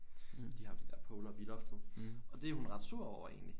De har jo det der pole oppe i loftet og det er hun ret sur over egentlig